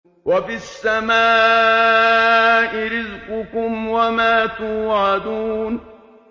وَفِي السَّمَاءِ رِزْقُكُمْ وَمَا تُوعَدُونَ وَفِي السَّمَاءِ رِزْقُكُمْ وَمَا تُوعَدُونَ